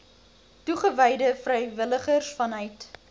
toegewyde vrywilligers vanuit